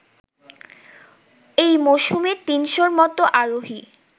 এই মওসুমে তিনশোর মতো আরোহী